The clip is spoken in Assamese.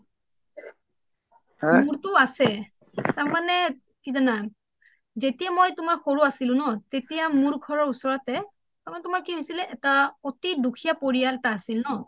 মোৰটো আছে তাৰ মানে কি জানা যেতিয়া মই তোমাৰ সৰু আছিলোঁ ন তেতিয়া মোৰ ঘৰৰ ওচৰতে মানে তোমাৰ কি হৈছিলে এটা অতি দুখীয়া পৰিয়াল আছিলে ন